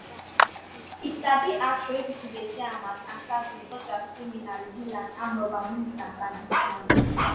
e sabi act role wey pipo dey see am as antagonist such as criminal villain armed robber militant and hitman.